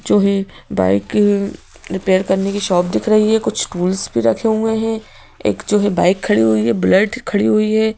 जो है bike repair करने की शॉप दिख रही है कुछ टूल्स भी रखे हुए हैं एक जो है बाइक खड़ी हुई है बुलेट खड़ी हुई है।